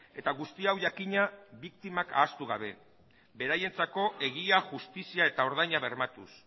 eta guzti hau jakina biktimak ahaztu gabe beraientzako egia justizia eta ordaina bermatuz